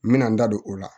N bɛna n da don o la